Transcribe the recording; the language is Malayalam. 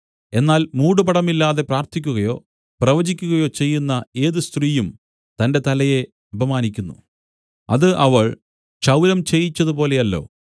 എന്നാൽ മൂടുപടമില്ലാതെ പ്രാർത്ഥിക്കുകയോ പ്രവചിക്കുകയോ ചെയ്യുന്ന ഏത് സ്ത്രീയും തന്റെ തലയെ അപമാനിക്കുന്നു അത് അവൾ ക്ഷൗരം ചെയ്യിച്ചതു പോലെയല്ലോ